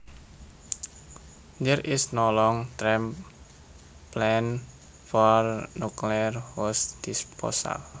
There is no long term plan for nuclear waste disposal